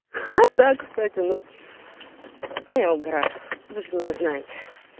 ха да кстати ну да я угораю вы же меня знаете